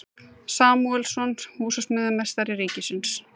Samúelsson, húsameistari ríkisins.